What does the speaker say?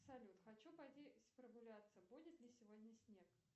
салют хочу пойти прогуляться будет ли сегодня снег